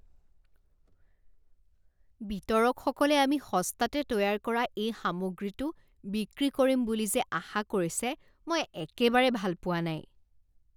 বিতৰকসকলে আমি সস্তাতে তৈয়াৰ কৰা এই সামগ্ৰীটো বিক্ৰী কৰিম বুলি যে আশা কৰিছে মই একেবাৰে ভাল পোৱা নাই।